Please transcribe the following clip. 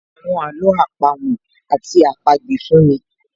So àwọn àló àpamọ́ àti àpagbè fún mi